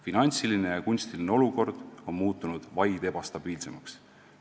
Finantsiline ja kunstiline olukord .. on muutunud vaid ebastabiilsemaks.